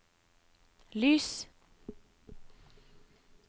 lys